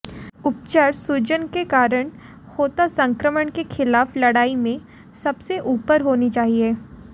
उपचार सूजन के कारण होता संक्रमण के खिलाफ लड़ाई में सब से ऊपर होनी चाहिए